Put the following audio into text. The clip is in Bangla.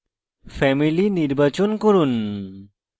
family নির্বাচন করুন